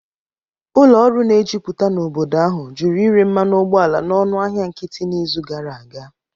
Ụlọ ọrụ na-ejuputa n'obodo ahụ jụrụ ịre mmanụ ụgbọala n'ọnụ ahịa nkịtị n'izu gara aga